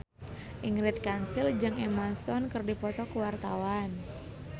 Ingrid Kansil jeung Emma Stone keur dipoto ku wartawan